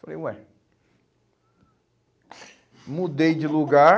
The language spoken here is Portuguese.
Falei, ué... Mudei de lugar...